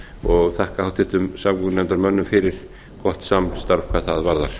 og þakka háttvirtum samgöngunefndarmönnum fyrir gott samstarf hvað það varðar